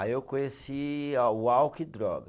Aí eu conheci a o álcool e droga.